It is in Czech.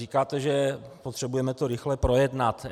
Říkáte, že potřebujeme to rychle projednat.